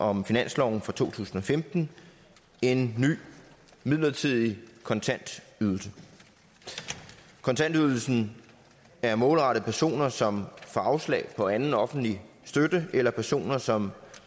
om finansloven for to tusind og femten en ny midlertidig kontantydelse kontantydelsen er målrettet personer som får afslag på anden offentlig støtte eller personer som